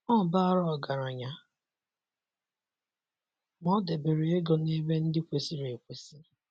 Ọ bara ọgaranya, ma o debere ego n'ebe ndi kwesịrị ekwesị.